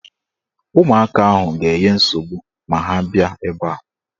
Ụmụaka ahụ ga-enye nsogbu ma ha bịa ebe a.